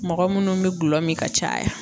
Mɔgɔ munnu be gulɔ mi ka caya.